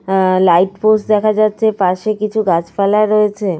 অ্যা light post দেখা যাচ্ছে। পাশে কিছু গাছ পালা রয়েছে।